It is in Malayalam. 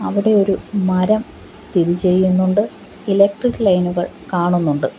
അവിടെ ഒരു മരം സ്ഥിതി ചെയ്യുന്നുണ്ട് ഇലക്ട്രിക് ലൈനുകൾ കാണുന്നുണ്ട്.